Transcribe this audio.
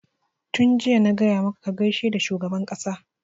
tun jiya na gaya maka ka gaishe da shugaban ƙasa!